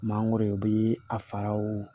Mangoro u bɛ a faraw